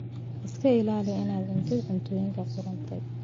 Iska ilaali inaad cuntid cuntooyinka qudhuntay.